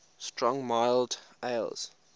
strong mild ales